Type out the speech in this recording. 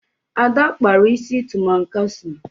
Ada kpara isi tụmankasa.